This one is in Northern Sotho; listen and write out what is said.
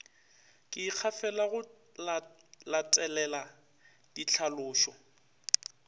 ke ikgafela go latelela dihlalošo